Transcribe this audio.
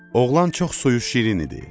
Oğlan çox suyu şirin idi.